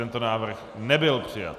Tento návrh nebyl přijat.